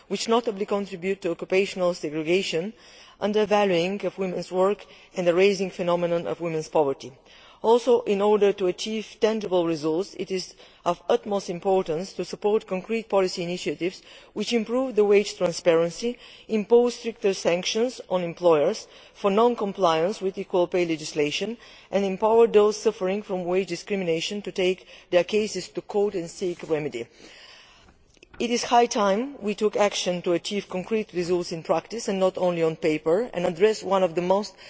These stereotypes contribute to occupational segregation, the undervaluing of women's work and the rising phenomenon of poverty among women. Also, in order to achieve tangible results, it is of the utmost important to support concrete policy initiatives which improve wage transparency, impose stricter sanctions on employers for non compliance with equal pay legislation, and empower those suffering from wage discrimination to take their cases to court and seek a remedy. It is high time we took action to achieve concrete results in practice, and not only on paper, by addressing one of the most